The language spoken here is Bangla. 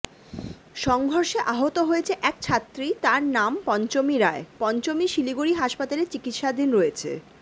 সংঘর্ষে আহত হয়েছে এক ছাত্রী তার নাম পঞ্চমী রায় পঞ্চমী শিলিগুড়ি হাসপাতালে চিকিৎসাধীন রয়েছে